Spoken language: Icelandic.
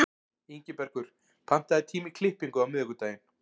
Ingibergur, pantaðu tíma í klippingu á miðvikudaginn.